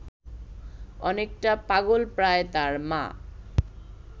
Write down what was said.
অনেকটা পাগলপ্রায় তার মা